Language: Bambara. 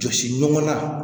Jɔsi ɲɔgɔn na